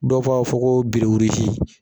Dɔw b'a fɔ ko .